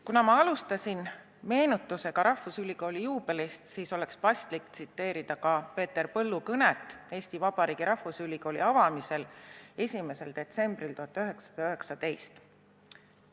Kuna ma alustasin meenutusega rahvusülikooli juubelist, siis oleks paslik tsiteerida ka Peeter Põllu kõnet, mille ta pidas Eesti Vabariigi rahvusülikooli avamisel 1. detsembril 1919.